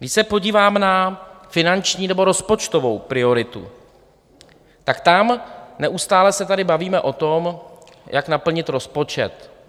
Když se podívám na finanční nebo rozpočtovou prioritu, tak tam neustále se tady bavíme o tom, jak naplnit rozpočet.